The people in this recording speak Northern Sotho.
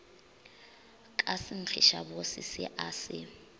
ka senkgišabose se a se